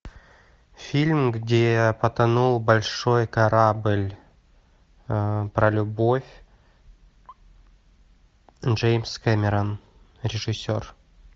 фильм где потонул большой корабль про любовь джеймс кэмерон режиссер